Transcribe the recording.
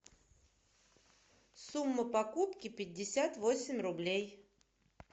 сумма покупки пятьдесят восемь рублей